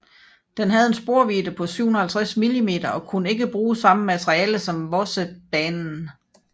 Den havde en sporvidde på 750 mm og kunne ikke bruge samme materiel som Vossebanen